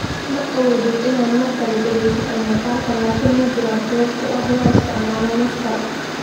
Ma awoodid inaad mar kale dhageysato muuqaalka, laakiin ma jiraan sabab u ah in la isticmaalo maaskaro?